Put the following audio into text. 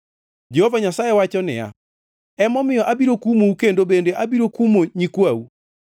Jehova Nyasaye wacho niya, “Emomiyo abiro kumou kendo. Bende abiro kumo nyikwau.